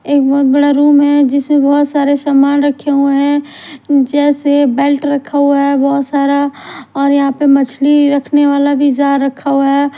एक बहोत बड़ा रूम है जिसमें बहोत सारे सामान रखे हुए हैं जैसे बेल्ट रखा हुआ है बहोत सारा और यहां पर मछली रखने वाला भी जाल रखा हुआ है।